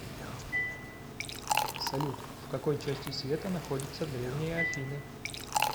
салют в какой части света находится древние афины